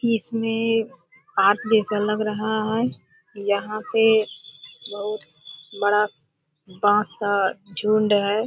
इसमे आग जैसा लग रहा हैं यहाँ पे बहुत बड़ा बांस का झुंड है ।